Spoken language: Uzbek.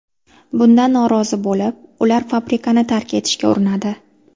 Bundan norozi bo‘lib, ular fabrikani tark etishga urinadi.